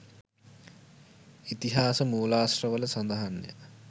ඉතිහාස මූලාශ්‍රවල සඳහන්ය.